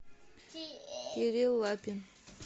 кирилл лапин